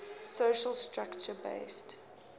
social structure based